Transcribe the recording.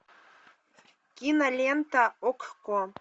кинолента окко